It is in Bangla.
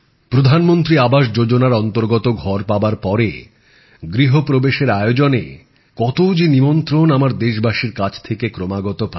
প্রধানমন্ত্রী আবাস যোজনার অন্তর্গত ঘর পাবার পরে গৃহপ্রবেশের আয়োজনে দেশবাসীদের কাছ থেকে কতো যে নিমন্ত্রণ আমার দেশবাসীর কাছ থেকে ক্রমাগত পাই